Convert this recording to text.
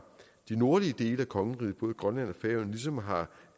de nordlige dele af kongeriget både grønland og færøerne ligesom har